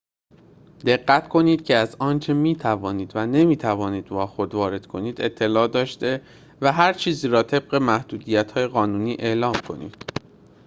دقت کنید که از آنچه می‌توانید و نمی‌توانید با خود وارد کنید اطلاع داشته و هر چیزی را طبق محدودیت‌های قانونی اعلام کنید